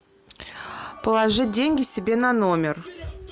положить деньги себе на номер